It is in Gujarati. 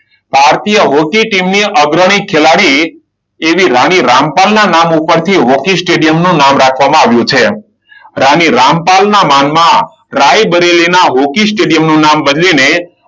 ભારતીય હોકી ટીમની અગ્રણી ખેલાડી એવી રાણી રામપાલ ના નામ ઉપરથી હોકી સ્ટેડિયમનું નામ રાખવામાં આવ્યું છે. રાણી રામપાલ ના માનમાં રાયબરેલીના હોકી સ્ટેડિયમનું નામ બદલીને